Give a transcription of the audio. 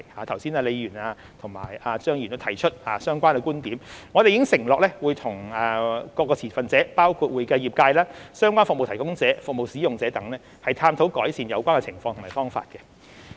剛才李議員和張議員亦有提出相關的觀點，我們已承諾會與各持份者，包括會計業界、相關服務提供者、服務使用者等，探討改善有關情況的方法。